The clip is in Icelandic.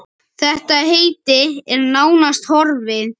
Þetta heiti er nánast horfið.